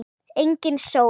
Engin sól.